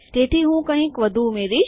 તેથી હું કંઈક વધુ ઉમેરીશ